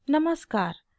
नमस्कार !